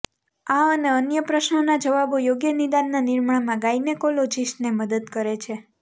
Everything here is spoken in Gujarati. આ અને અન્ય પ્રશ્નોના જવાબો યોગ્ય નિદાનના નિર્માણમાં ગાયનેકોલોજિસ્ટને મદદ કરે છે